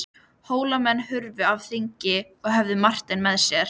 Hólamenn hurfu af þingi og höfðu Martein með sér.